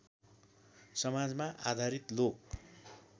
समाजमा आधारित लोक